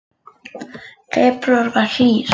Febrúar var hlýr